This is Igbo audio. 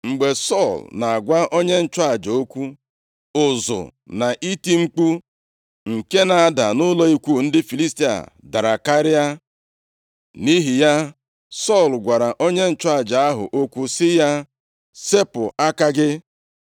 Mgbe Sọl na-agwa onye nchụaja okwu, ụzụ na iti mkpu nke na-ada nʼụlọ ikwu ndị Filistia dara karịa, nʼihi ya, Sọl gwara onye nchụaja ahụ okwu sị ya, “Sepụ aka gị.”